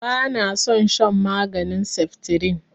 Ba na son shan maganin saftirin